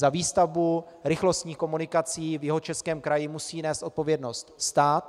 Za výstavbu rychlostních komunikací v Jihočeském kraji musí nést odpovědnost stát.